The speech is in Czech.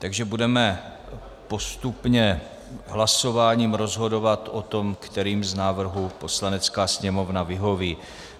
Takže budeme postupně hlasováním rozhodovat o tom, kterým z návrhů Poslanecká sněmovna vyhoví.